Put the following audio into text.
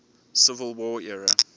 civil war era